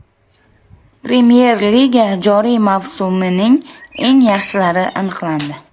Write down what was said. Premyer Liga joriy mavsumining eng yaxshilari aniqlandi.